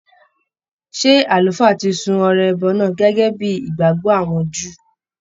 Ṣé Àlùfáà ti sun ọrẹ ẹbọ náà gẹ́gẹ́ bíi ìgbàgbọ́ àwọn Júù?